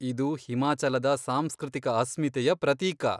ಇದು ಹಿಮಾಚಲದ ಸಾಂಸ್ಕೃತಿಕ ಅಸ್ಮಿತೆಯ ಪ್ರತೀಕ.